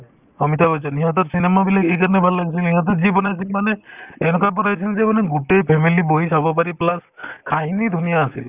অমিতাভ বচন সিহঁতৰ cinema বিলাক এইকাৰণে ভাল লাগিছিল সিহঁতে যি বনাইছিল মানে এনেকুৱা বনাইছিল যে মানে গোটেই family বহি চাব পাৰি plus কাহিনী ধুনীয়া আছিল